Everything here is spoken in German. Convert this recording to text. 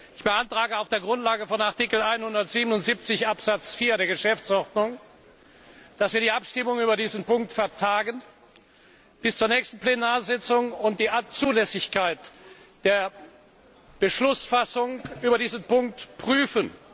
Ich beantrage auf der Grundlage von Artikel 177 Absatz 4 der Geschäftsordnung, dass wir die Abstimmung über diesen Punkt bis zur nächsten Plenarsitzung vertagen und die Zulässigkeit der Beschlussfassung über diesen Punkt prüfen.